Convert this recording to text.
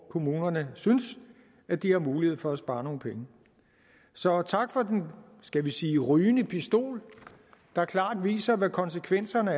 kommunerne synes at de har mulighed for at spare nogle penge så tak for den skal vi sige rygende pistol der klart viser konsekvenserne